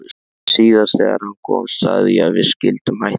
Síðast þegar hann kom sagði ég að við skyldum hætta.